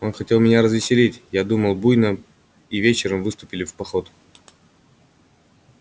он хотел меня развеселить я думал и буйно и вечером выступили в поход